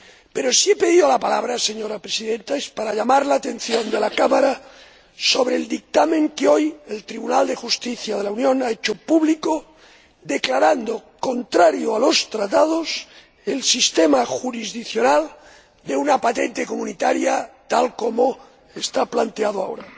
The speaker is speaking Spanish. Pero, si he pedido la palabra, señora Presidenta, es para llamar la atención de la Cámara sobre el dictamen que hoy ha hecho público el Tribunal de Justicia de la Unión Europea, en el que declara contrario a los Tratados el sistema jurisdiccional de una patente comunitaria tal como está planteado ahora.